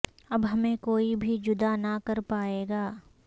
اب ہمیں کوئی بھی جدا نہ کر پائے گا